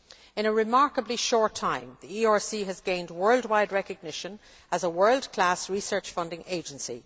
In a remarkably short time, the ERC has gained world wide recognition as a world class research funding agency.